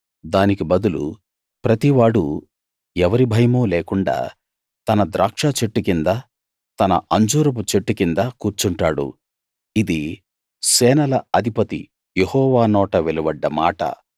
దానికి బదులు ప్రతివాడూ ఎవరి భయమూ లేకుండా తన ద్రాక్షచెట్టు కింద తన అంజూరపు చెట్టు కింద కూర్చుంటాడు ఇది సేనల అధిపతి యెహోవా నోట వెలువడ్డ మాట